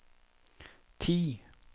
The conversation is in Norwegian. ti